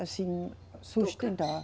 Assim, sustentar.